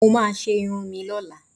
Mo máa ṣe irun mi lọ́la